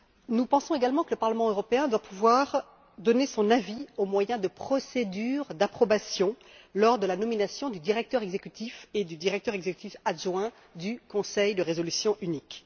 Nous pensons également que le Parlement européen doit pouvoir donner son avis au moyen de procédures d'approbation lors de la nomination du directeur exécutif et du directeur exécutif adjoint du conseil de résolution unique.